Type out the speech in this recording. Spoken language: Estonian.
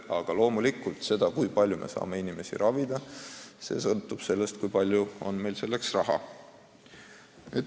Aga loomulikult sõltub see, kui palju me saame inimesi ravida, sellest, kui palju meil on selleks raha.